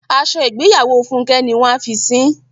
Aṣọ ìgbéyàwó Fúnkẹ́ ni wọ́n a fi sín.